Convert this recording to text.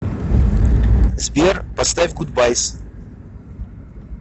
сбер поставь гудбайс